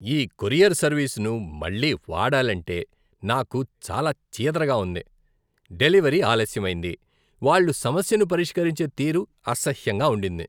ఈ కొరియర్ సర్వీస్ను మళ్లీ వాడాలంటే నాకు చాలా చీదరగా ఉంది. డెలివరీ ఆలస్యమైంది, వాళ్ళు సమస్యను పరిష్కరించే తీరు అసహ్యంగా ఉండింది.